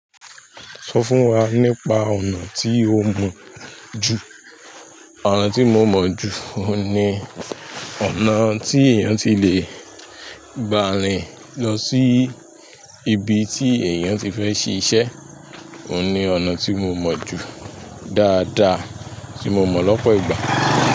Sọ fún wa nípa ọ̀nà tí o mọ̀ ju? Ọ̀nà tí mo mọ̀ ju, òun ni ọ̀nà tí èèyàn ti le gba'rin lọ sí ibi tí èèyàn ti fẹ́ ṣíṣe. Òun ni ọ̀nà tí mo mọ̀ ju dáadáa tí mo mọ̀ lọ́pọ̀ ìgbà.